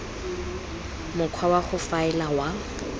mokgwa wa go faela wa